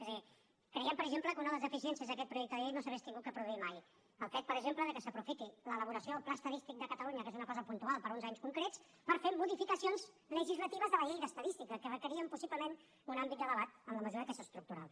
és a dir creiem per exemple que una de les deficiències d’aquest projecte de llei no s’hauria d’haver produït mai el fet per exemple que s’aprofiti l’elaboració del pla estadístic de catalunya que és una cosa puntual per a uns anys concrets per fer modificacions legislatives de la llei d’estadística que requerien possiblement un àmbit de debat en la mesura que és estructural